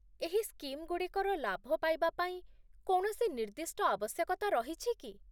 ଏହି ସ୍କିମ୍‌ଗୁଡ଼ିକର ଲାଭ ପାଇବା ପାଇଁ କୌଣସି ନିର୍ଦ୍ଦିଷ୍ଟ ଆବଶ୍ୟକତା ରହିଛି କି?